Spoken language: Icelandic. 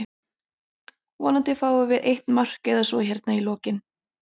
Vonandi fáum við eitt mark eða svo hérna í lokinn.